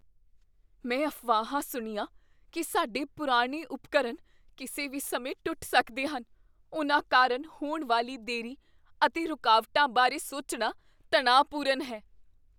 ਮੈਂ ਅਫਵਾਹਾਂ ਸੁਣੀਆਂ ਕੀ ਸਾਡੇ ਪੁਰਾਣੇ ਉਪਕਰਨ ਕਿਸੇ ਵੀ ਸਮੇਂ ਟੁੱਟ ਸਕਦੇ ਹਨ। ਉਨ੍ਹਾਂ ਕਾਰਨ ਹੋਣ ਵਾਲੀ ਦੇਰੀ ਅਤੇ ਰੁਕਾਵਟਾਂ ਬਾਰੇ ਸੋਚਣਾ ਤਣਾਅਪੂਰਨ ਹੈ।